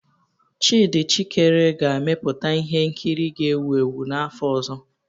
Tchidi Chikere ga-emeputa ihe nkiri ga-ewu ewu n'afọ ọzọ.